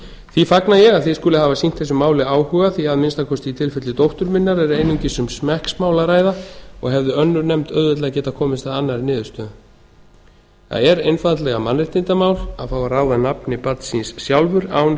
því fagna ég að þið skulið hafa sýnt þessu máli áhuga því að að minnsta kosti í tilfelli dóttur minnar er einungis um smekksmál að ræða og hefði önnur nefnd auðveldlega getað komist að annarri niðurstöðu það er einfaldlega mannréttindamál að fá að ráða nafni barns síns sjálfur án